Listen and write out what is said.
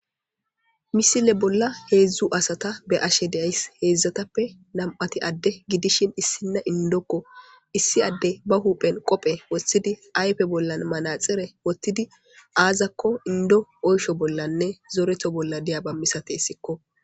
Ha missile bolla hezzu assatha bea'she da'ss hezathappe nam'thi adde gidishin issinaya indoko issi adde ba huphen qophe wothidi ayffe bollan manaxire azzakko Indo oysho bollanne zoretho bolla diyaba misathesikko.